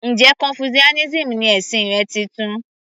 Njẹ́ confucianism ni ẹ̀sìn rẹ titun?